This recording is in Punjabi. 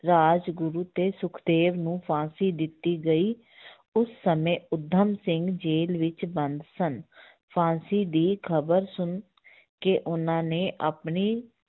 ਰਾਜਗੁਰੂ ਤੇ ਸੁਖਦੇਵ ਨੂੰ ਫ਼ਾਂਸੀ ਦਿੱਤੀ ਗਈ ਉਸ ਸਮੇਂ ਊਧਮ ਸਿੰਘ ਜੇਲ੍ਹ ਵਿੱਚ ਬੰਦ ਸਨ ਫ਼ਾਂਸੀ ਦੀ ਖ਼ਬਰ ਸੁਣ ਕੇ ਉਹਨਾਂ ਨੇ ਆਪਣੀ